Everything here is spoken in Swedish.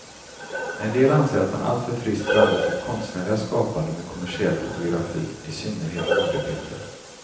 En del anser att han alltför friskt blandat sitt konstnärliga skapande med kommersiell fotografi, i synnerhet modebilder.